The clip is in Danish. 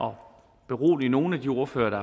og berolige nogle af de ordførere der